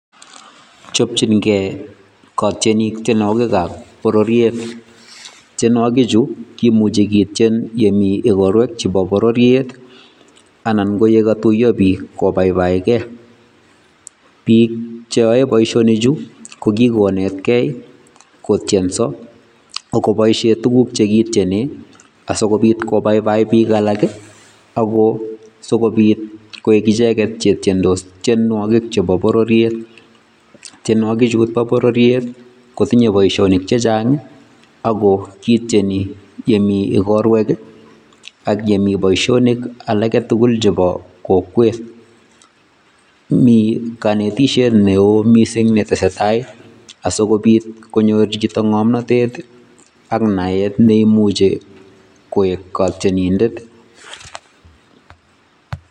Chopchinkei katienik tienwokikab pororiet, tienwokikchu kimuche kitien komitei igorwek chebo pororiet anan ye katuiyo biik kobaibaike. Biik cheyoe boisioni ko kikonetkei kotienso kopaishen tuguk che kitiene sikopit kobaibai biik alak ako asikopit koek icheket che itiendos tienwokik chebo pororiet. Tienwokichu bo pororiet kotinye boisionik chechang ako kitieni yemi igorwek anan komi boisionik alak tugul chebo kokwet. Mi kaneteisiet neo mising ne tesetai asikopit konyor chito ngomnatet ak naet neimuche koek katienindet.